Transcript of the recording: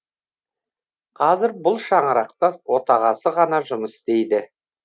қазір бұл шаңырақта отағасы ғана жұмыс істейді